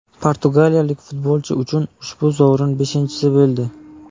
Portugaliyalik futbolchi uchun ushbu sovrin beshinchisi bo‘ldi.